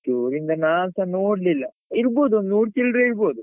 ಪುತ್ತೂರಿಂದ ನಾನ್ಸ ನೋಡ್ಲಿಲ್ಲ ಇರ್ಬೋದು ಒಂದು ನೂರು ಚಿಲ್ಲರೆ ಇರ್ಬೋದು.